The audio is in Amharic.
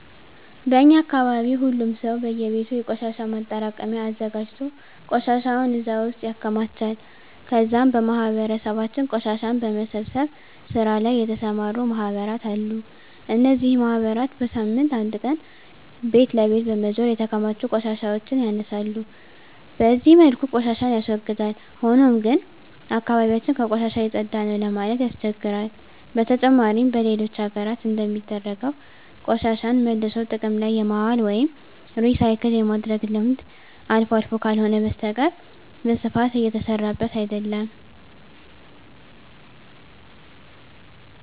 በእኛ አካባቢ ሁሉም ሰው በእየቤቱ የቆሻሻ ማጠራቀሚያ አዘጋጅቶ ቆሻሻውን እዛ ውስጥ ያከማቻል ከዛም በማህበረሰባችን ቆሻሻን በመሰብሰብ ስራ ላይ የተሰማሩ ማህበራት አሉ። እነዚህ ማህበራት በሳምንት አንድ ቀን ቤት ለቤት በመዞር የተከማቹ ቆሻሻዎችን ያነሳሉ። በዚህ መልኩ ቆሻሻን ያስወግዳል። ሆኖም ግን አካባቢ ያችን ከቆሻሻ የፀዳ ነው ለማለት ያስቸግራል። በተጨማሪም በሌሎች ሀገራት እንደሚደረገው ቆሻሻን መልሶ ጥቅም ላይ የማዋል ወይም ሪሳይክል የማድረግ ልምድ አልፎ አልፎ ካልሆነ በስተቀረ በስፋት እየተሰራበት አይደለም።